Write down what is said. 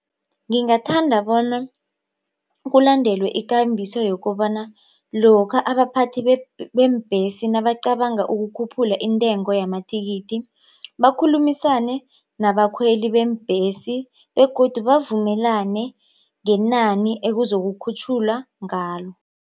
Ngingathanda bona kulandelwe ikambiso yokobana lokha abaphathi beembhesi nabacabanga ukukhuphula intengo yamathikithi bakhulumisane nabakhweli beembhesi begodu bavumelane ngenani ekuzokukhutjhulwa ngalo.